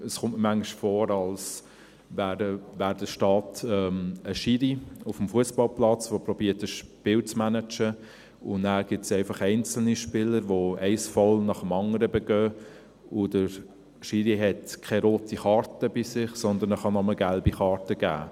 Es kommt mir manchmal vor, als wäre der Staat ein «Schiri» auf dem Fussballplatz, der versucht, ein Spiel zu managen, und dann gibt es einfach einzelne Spieler, die ein Foul nach dem anderen begehen, und der «Schiri» hat keine rote Karte dabei, sondern er kann nur gelbe Karten geben.